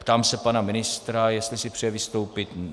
Ptám se pana ministra, jestli si přeje vystoupit.